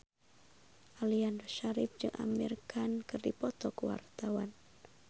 Aliando Syarif jeung Amir Khan keur dipoto ku wartawan